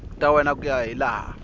ta wena ku ya hilaha